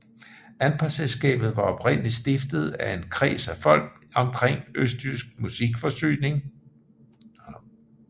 Anpartselskabet var oprindeligt stiftet af en kreds af folk omkring Østjysk Musikforsyning